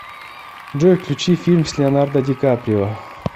джой включи фильм с леонардо ди каприо